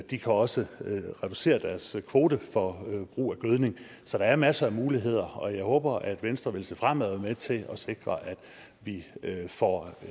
de kan også reducere deres kvote for brug af gødning så der er masser af muligheder og jeg håber at venstre vil se fremad med til at sikre at vi får